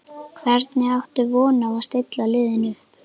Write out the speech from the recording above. Hvernig áttu von á að stilla liðinu upp?